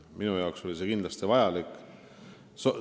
Minu jaoks oli see kindlasti vajalik.